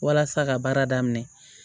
Walasa ka baara daminɛ